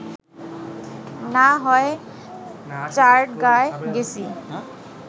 না হয় চাটগাঁয় গেছি